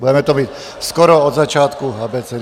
Budeme to mít skoro od začátku abecedy.